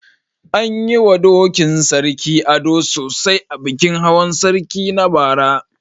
An yi wa dokin Sarki ado sosai a bikin Hawan sarki na bara.